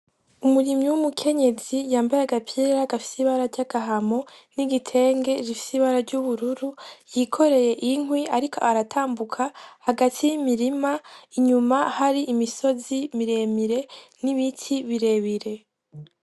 Umurimyi w'umukenyezi yambaye agapira gafise ibara ryagahama, n'igitenge gifise ibara ry'ubururu, yikoreye inkwi, ariko aratambuka hagati y'imirima, inyuma hari imisozi miremire n'ibiti birebire.